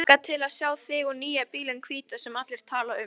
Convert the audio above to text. Ég hlakka til að sjá þig og nýja bílinn hvíta sem allir tala um.